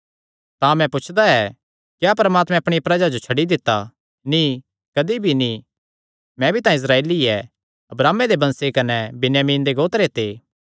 तां मैं पुछदा ऐ क्या परमात्मैं अपणिया प्रजा जो छड्डी दित्ता नीं कदी भी नीं मैं भी तां इस्राएली ऐ अब्राहमे दे वंश कने बिन्यामीन दे गोत्र ते ऐ